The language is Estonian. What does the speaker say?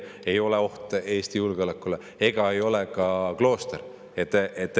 Nemad ei ole oht Eesti julgeolekule ega ole ka klooster.